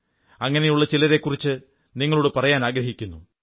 അങ്ങനെയുള്ള ചിലരെക്കുറിച്ച് നിങ്ങളോടു പറായനാഗ്രഹിക്കുന്നു